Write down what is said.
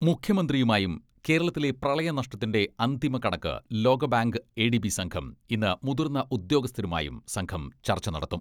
മുഖ്യമന്ത്രിയുമായും കേരളത്തിലെ പ്രളയ നഷ്ടത്തിന്റെ അന്തിമ കണക്ക് ലോക ബാങ്ക് എ ഡി ബി സംഘം ഇന്ന് മുതിർന്ന ഉദ്യോഗസ്ഥരുമായും സംഘം ചർച്ച നടത്തും.